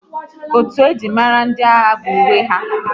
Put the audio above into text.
Otu njirimara ndị agha bụ uwe ha